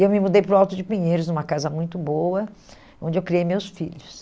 E eu me mudei para o Alto de Pinheiros, numa casa muito boa, onde eu criei meus filhos.